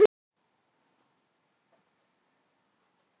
Þú manst hvar þú átt að hitta mig.